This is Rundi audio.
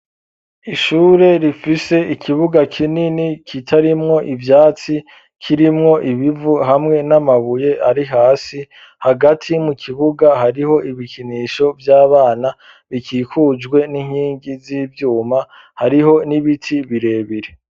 Ishure rifise ikibuga kinini kitarimwo ivyatsi kirimwo ibivu hamwe n'amabuye ari hasi hagati mu kibuga hariho ibikinisho vy'abana bikikujwe n'inkingi z'ivyuma hariho n'ibiti birebire.